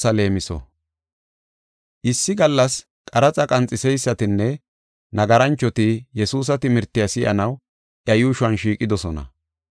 Issi gallas qaraxa qanxeysatinne nagaranchoti Yesuusa timirtiya si7anaw iya yuushon shiiqidosona.